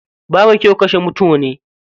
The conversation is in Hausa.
Babu kyau kashe mutune.